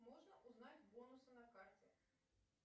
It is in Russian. можно узнать бонусы на карте